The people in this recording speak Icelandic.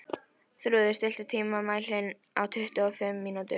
Þrúður, stilltu tímamælinn á tuttugu og fimm mínútur.